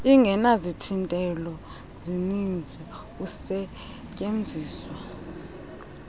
ingenazithintelo zininzi usetyuenziswa